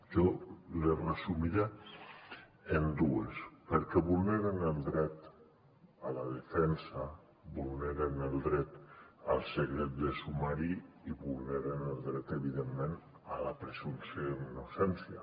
jo les resumiré en tres perquè vulneren el dret a la defensa vulneren el dret al secret de sumari i vulneren el dret evidentment a la presumpció d’innocència